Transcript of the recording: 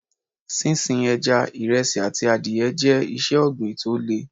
Sín sin Ẹja, ìresí àti adìẹ jẹ́ iṣẹ́ ọ̀gbìn tó le.